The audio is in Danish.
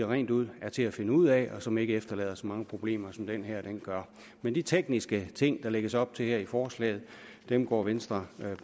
rent ud er til at finde ud af og som ikke efterlader så mange problemer som den her gør men de tekniske ting der lægges op til her i forslaget går venstre